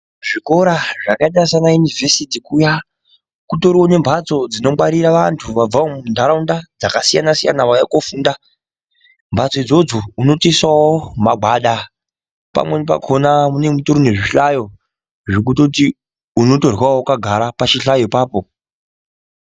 Zvikora zvakaita semaunivhesiti kuya kune mhatso dzinongwarira vantu vabva kundaraunda dzakasiyana siyana vauya kundofunda mhatso idzodzo unotoisawo magwada pamweni pacho panenge pane zvihlayo zvekuti unotoryawo wakagara pachihlayo ipapo.